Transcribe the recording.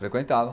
Frequentava.